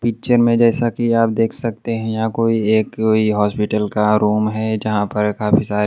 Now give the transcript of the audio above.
picture में जैसा कि आप देख सकते है यहां कोई एक हॉस्पिटल का रूम है जहां पर काफी सारे--